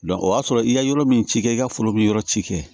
o y'a sɔrɔ i ye yɔrɔ min ci kɛ i ka foro bi yɔrɔ ci kɛ